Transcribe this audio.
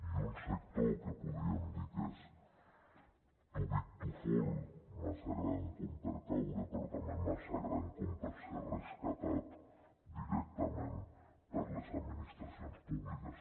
i un sector que podríem dir que és too big to fall massa gran com per caure però també massa gran com per ser rescatat directament per les administracions públiques